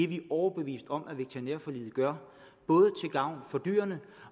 vi overbeviste om at veterinærforliget gør både til gavn for dyrene